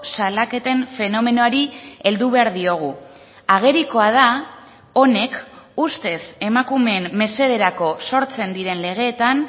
salaketen fenomenoari heldu behar diogu agerikoa da honek ustez emakumeen mesederako sortzen diren legeetan